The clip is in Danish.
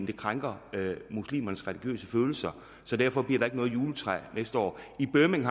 det krænker muslimernes religiøse følelser så derfor bliver der ikke noget juletræ næste år i birmingham